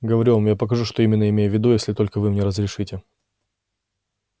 говорю вам я покажу что именно имею в виду если только вы мне разрешите